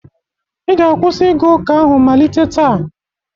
ị ga-akwụsị ịga ụka ahụ malite taa!